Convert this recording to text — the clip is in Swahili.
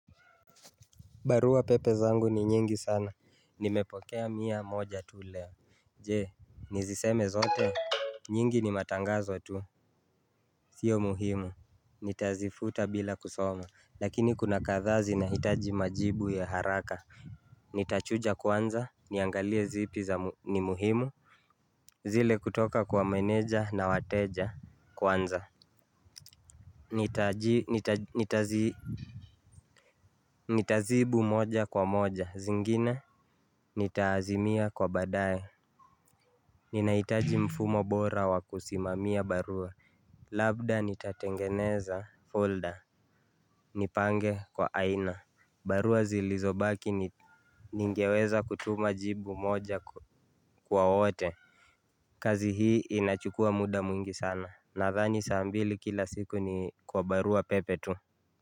Baruapepe zangu ni nyingi sana. Nimepokea mia moja tu leo. Je, niziseme zote? Nyingi ni matangazo tu. Sio muhimu. Nitazifuta bila kusoma. Lakini kuna kadhaa zinahitaji majibu ya haraka. Nitachuja kwanza, niangalie zipi ni muhimu, zile kutoka kwa meneja na wateja kwanza. Nitajibu moja kwa moja. Zingine nitaazimia kwa baadae. Ninahitaji mfumo bora wa kusimamia barua. Labda nitatengeneza folder. Nipange kwa aina. Barua zilizobaki ningeweza kutuma jibu moja kwa wote. Kazi hii inachukua muda mwingi sana. Nadhani saa mbili kila siku ni kwa baruapepe tu.